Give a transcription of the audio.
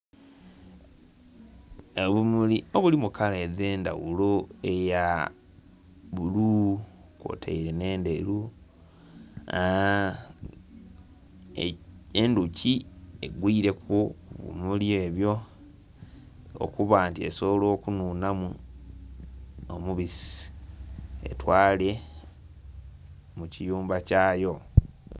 Obumuli obuli mu kala edh'endhaghulo; eya bbulu kwotaire nh'endheru. Endhuki egwileku, ku bimuli ebyo okuba nti esobola okunhunhamu omubisi, etwale mu kiyumba kyayo.